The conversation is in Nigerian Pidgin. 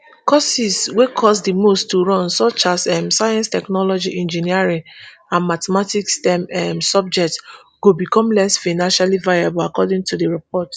courses wey cost di most to run such as um science technology engineering and mathematics stem um subjects go become less financially viable according to di report